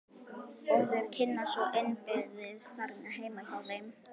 Og þeir kynnast svo innbyrðis þarna heima hjá þeim.